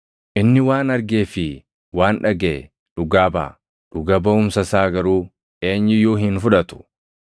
Inni waan argee fi waan dhagaʼe dhugaa baʼa; dhuga baʼumsa isaa garuu eenyu iyyuu hin fudhatu.